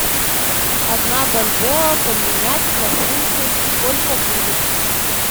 одна бальбоа поменять на фунты сколько будет